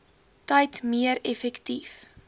tyd meer effektief